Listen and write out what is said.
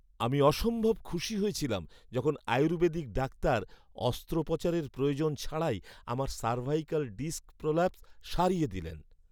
আমি অসম্ভব খুশি হয়েছিলাম যখন আয়ুর্বেদিক ডাক্তার অস্ত্রোপচারের প্রয়োজন ছাড়াই আমার সার্ভাইকাল ডিস্ক প্রোল্যাপস সারিয়ে দিলেন।